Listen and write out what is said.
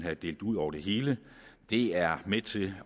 var delt ud over det hele er med til